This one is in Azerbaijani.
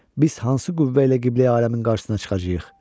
Biz hansı qüvvə ilə Qibləyi aləmin qarşısına çıxacağıq?